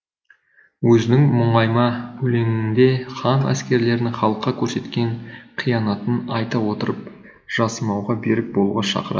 өзінің мұңайма өлеңінде хан әскерлерінің халыққа көрсеткен қиянатын айта отырып жасымауға берік болуға шақырады